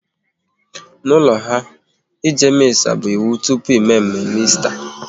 N'ụlọ ha, ịje Missa bụ iwu tupu mme mme Esta